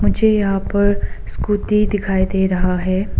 मुझे यहां पर स्कूटी दिखाई दे रहा है।